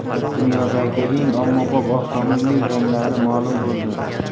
Dunyodagi eng ommabop avtomobil ranglari ma’lum bo‘ldi.